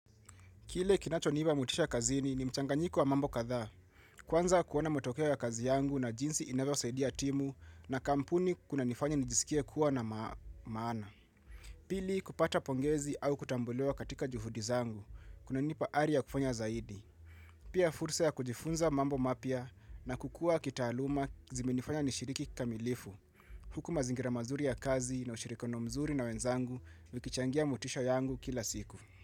Kile kinacho nipa motisha kazini ni mchanganyiko wa mambo kadhaa, kwanza kuona motokea ya kazi yangu na jinsi inavyo saidia timu na kampuni kunanifanya nijisikie kuwa na maana. Pili kupata pongezi au kutambuliwa katika juhudi zangu, kunanipa ari ya kufanya zaidi. Pia fursa ya kujifunza mambo mapya na kukua kitaaluma zimenifanya nishiriki kamilifu. Huku mazingira mazuri ya kazi na ushirikiano mzuri na wenzangu vikichangia motisha yangu kila siku.